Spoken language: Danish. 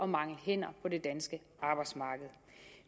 mangle hænder på det danske arbejdsmarked